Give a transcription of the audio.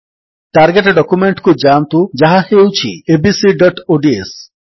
target document କୁ ଯାଆନ୍ତୁ ଯାହା ହେଉଛି abcଓଡିଏସ